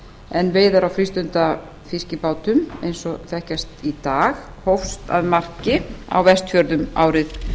en veiðar á frístundafiskibátum eins og þekkjast í dag hófust að marki á vestfjörðum árið